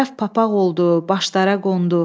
Şərəf papaq oldu, başlara qondu.